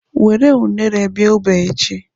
Were unere bịa ebe a echi.